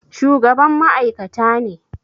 shugaban ma'aikata ne